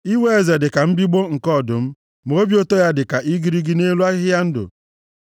Iwe eze dị ka mbigbọ nke ọdụm. Ma obi ụtọ ya dị ka igirigi nʼelu ahịhịa ndụ.